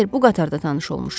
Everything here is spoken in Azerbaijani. Xeyr, bu qatarda tanış olmuşuq.